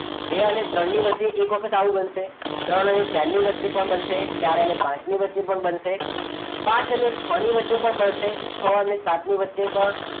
બે અને ત્રણની વચ્ચે એક વખત આવું બનશે ત્રણ અને ચાર ની વચ્ચે પણ બનશે ચાર અને પાંચની વચ્ચે પણ બનશે પાંચ અને છ ની વચ્ચે પણ બનશે છ અને સાતની વચ્ચે પણ